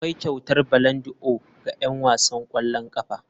Akwai kyautar ballondi'or ga 'yan wasan ƙwallon ƙafa.